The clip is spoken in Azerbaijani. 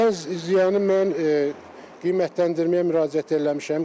Dəyən ziyanı mən qiymətləndirməyə müraciət eləmişəm.